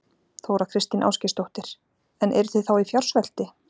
Þóra Kristín Ásgeirsdóttir: En eruð þið þá í fjársvelti?